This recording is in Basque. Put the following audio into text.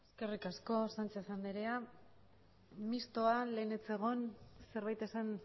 eskerrik asko sánchez andrea mistoa lehen ez zegoen zerbait esan